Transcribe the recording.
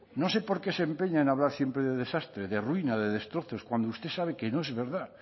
no sé por qué se empeña en hablar siempre de desastre de ruina de destrozos cuando usted sabe que no es verdad